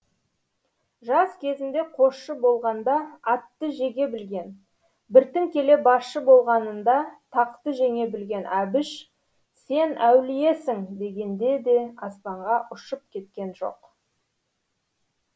жас кезінде қосшы болғанда атты жеге білген біртін келе басшы болғанында тақты жеңе білген әбіш сен әулиесің дегенде де аспанға ұшып кеткен жоқ